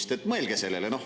Nii et mõelge sellele.